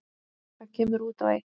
Það kemur út á eitt.